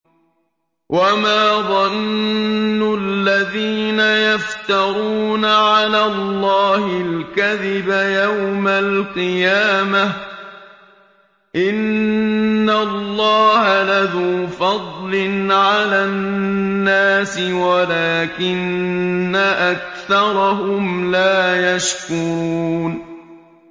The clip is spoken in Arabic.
وَمَا ظَنُّ الَّذِينَ يَفْتَرُونَ عَلَى اللَّهِ الْكَذِبَ يَوْمَ الْقِيَامَةِ ۗ إِنَّ اللَّهَ لَذُو فَضْلٍ عَلَى النَّاسِ وَلَٰكِنَّ أَكْثَرَهُمْ لَا يَشْكُرُونَ